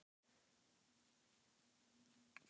Hvernig líst þér á aðstæður og umgjörðina hjá Stjörnunni?